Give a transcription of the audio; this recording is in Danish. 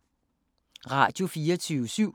Radio24syv